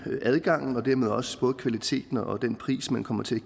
adgangen og dermed også både kvaliteten og den pris man kommer til at